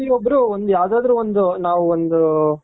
ಪ್ರತಿ ಒಬ್ರು ಯಾವ್ದಾದ್ರು ಒಂದು ನಾವು ಒಂದು